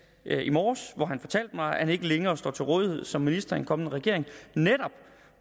i morges hvor han fortalte mig at han ikke længere står til rådighed som minister i en kommende regering netop